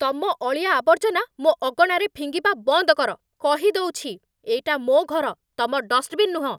ତମ ଅଳିଆଆବର୍ଜନା ମୋ ଅଗଣାରେ ଫିଙ୍ଗିବା ବନ୍ଦ କର, କହିଦଉଛି । ଏଇଟା ମୋ' ଘର, ତମ ଡଷ୍ଟବିନ୍ ନୁହଁ!